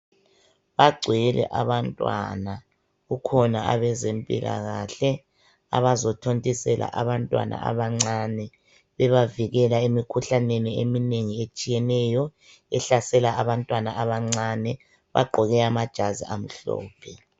Bagcwele abantwana kukhona abazempilakahle abazothontisela abantwana abancane bebavikela emkhuhlameni eminengi etshiyeneyo bagqoke amajazi amhlophe.